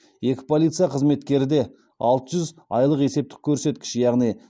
екі полиция қызметкері де алты жүз айлық есептік көрсеткіш